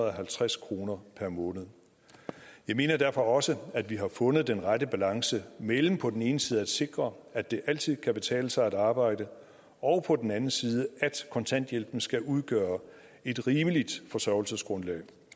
halvtreds kroner per måned jeg mener derfor også at vi har fundet den rette balance mellem på den ene side at sikre at det altid kan betale sig at arbejde og på den anden side at kontanthjælpen skal udgøre et rimeligt forsørgelsesgrundlag